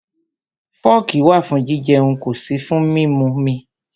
Fọ́ọ̀kì wà fún jijẹun, kò sí fún mímumi.